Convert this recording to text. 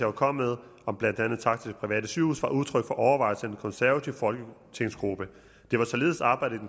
var kommet med om blandt andet takster til private sygehuse var udtryk for overvejelser i den konservative folketingsgruppe det var således arbejdet i